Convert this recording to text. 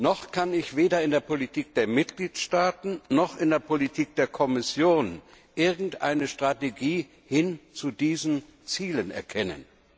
Noch kann ich weder in der Politik der Mitgliedstaaten noch in der Politik der Kommission irgendeine Strategie hin zu diesen Zielen erkennen.